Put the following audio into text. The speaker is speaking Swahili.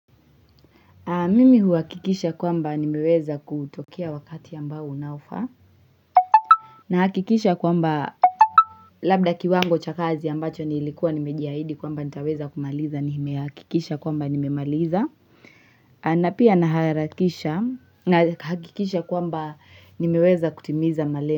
Mimi huakikisha kwamba nimeweza kutokea wakati ambao unaofaa. Na hakikisha kwamba labda kiwango cha kazi ambacho nilikuwa nimejiahidi kwamba nitaweza kumaliza nimehakikisha kwamba nimemaliza. Na pia naharakisha na hakikisha kwamba nimeweza kutimiza malema.